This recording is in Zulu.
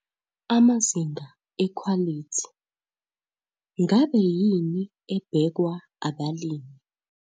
AMAZINGA EKHWALITHI - NGABE YINI EBHEKWA ABALIMI?